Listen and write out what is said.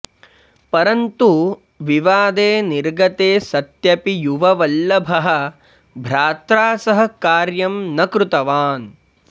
परन्तु विवादे निर्गते सत्यपि युववल्लभः भ्रात्रा सह कार्यं न कृतवान्